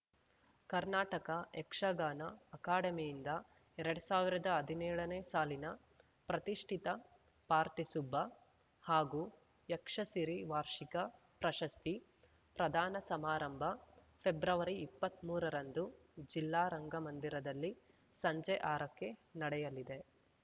ಕರ್ನಾಟಕ ಯಕ್ಷಗಾನ ಅಕಾಡೆಮಿಯಿಂದ ಎರಡ್ ಸಾವಿರದ ಹದಿನೇಳನೇ ಸಾಲಿನ ಪ್ರತಿಷ್ಠಿತ ಪಾರ್ತಿಸುಬ್ಬ ಹಾಗೂ ಯಕ್ಷಸಿರಿ ವಾರ್ಷಿಕ ಪ್ರಶಸ್ತಿ ಪ್ರದಾನ ಸಮಾರಂಭ ಫೆಬ್ರವರಿ ಇಪ್ಪತ್ಮೂರರಂದು ಜಿಲ್ಲಾ ರಂಗಮಂದಿರದಲ್ಲಿ ಸಂಜೆ ಆರಕ್ಕೆ ನಡೆಯಲಿದೆ